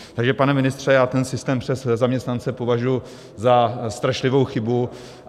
Takže, pane ministře, já ten systém přes zaměstnance považuji za strašlivou chybu.